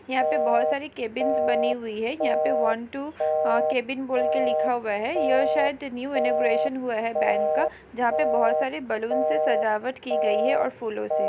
यहाँ पे बहोत सारे केबिन्स बनी हुई है यहाँ पे वन टू अ केबिन बोल के लिखा हुआ है यह शायद न्यू इनॉगरेशन हुआ है बैंक का जहाँ पे बहोत सारे बलून से सजावट की गई है और फूलो से--